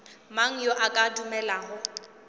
mang yo a ka dumelago